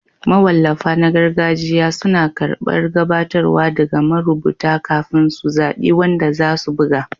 Mawallafa na gargajiya suna karɓar gabatarwa daga marubuta kafin su zaɓi wanda za su buga